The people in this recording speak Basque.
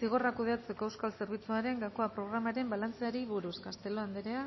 zigorrak kudeatzeko euskal zerbitzuaren gakoa programaren balantzeari buruz castelo anderea